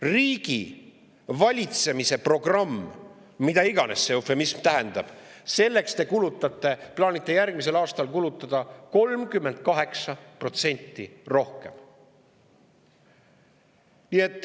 Riigi valitsemise programmiks, mida iganes see eufemism tähendab, te plaanite järgmisel aastal kulutada 38% rohkem.